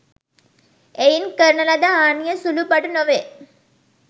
එයින් කරන ලද හානිය සුලු පටු නොවේ.